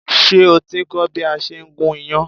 Ṣé o ti ń kọ́ bí a ṣe ń gún iyán?